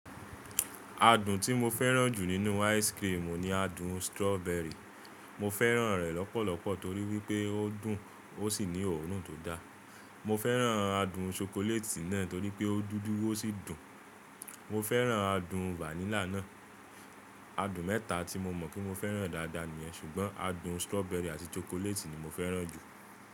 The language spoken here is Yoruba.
Adùn tí mo fẹ́ràn jù nínú ice cream ni adùn strawberry. Mo fẹ́ràn rẹ̀ lọ́pọ̀lọpọ̀ torí wípé ó dùn ó sì ní òórùn tó da. Mo fẹ́ràn adùn chocolate náà torí pé ó dúdú ó sì dùn. Mo fẹ́ràn adùn vanilla náà. Adùn mẹ́ta tí mo mọ̀ pé mo fẹ́ràn dáadáa nìyẹn, ṣùgbọ́n adùn strawberry àti chocolate ni mo fẹ́ràn jù.